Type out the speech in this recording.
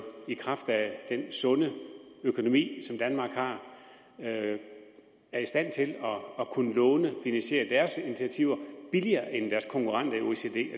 i kraft af den sunde økonomi som danmark har er i stand til at kunne lånefinansiere deres initiativer billigere end deres konkurrenter